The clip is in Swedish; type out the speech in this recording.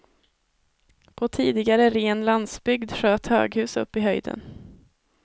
På tidigare ren landsbygd sköt höghus upp i höjden.